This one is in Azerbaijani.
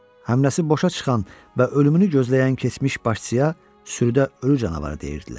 Həmləsi boşa çıxan və ölümünü gözləyən keçmiş başçıya sürüdə ölü canavarı deyirdilər.